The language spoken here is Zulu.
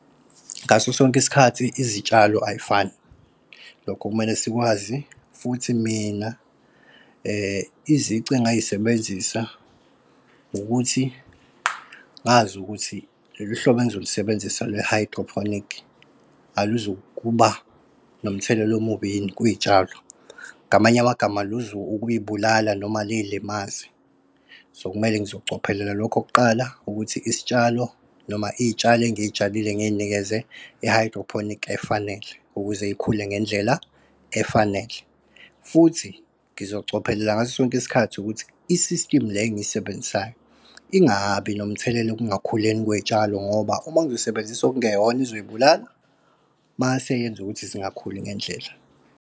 Ngaso sonke isikhathi izitshalo ayifani, lokhu kumele sikwazi futhi mina izici engingayisebenzisa, ukuthi ngazi ukuthi lolu hlobo engizolusebenzisa lwe-hydroponic aluzukuba nomthelela omubi yini kwiy'tshalo. Ngamanye amagama luza ukuy'bulala noma liy'limaze. So, kumele ngizocophelela lokho kuqala ukuthi isitshalo noma iy'tshalo engiy'tshalile ngiy'nikeze i-hydroponic efanele, ukuze ikhule ngendlela efanele. Futhi ngizocophelela ngaso sonke isikhathi ukuthi i-system le engiyisebenzisayo ingabi nomthelelo okungakhuleni kwey'tshalo ngoba uma ngizosebenzisa okungeyona izoyibulala, mase iyenza ukuthi zingakhuli ngendlela.